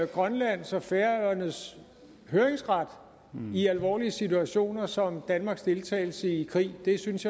grønlands og færøernes høringsret i alvorlige situationer såsom danmarks deltagelse i krig jeg synes